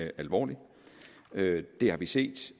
alvorlig det har vi set